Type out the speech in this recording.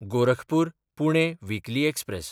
गोरखपूर–पुणे weekly express